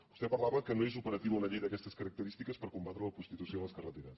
vostè parlava que no és operativa una llei d’aquestes característiques per combatre la prostitució a les carreteres